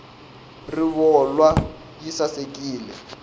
rivolwa yi sasekile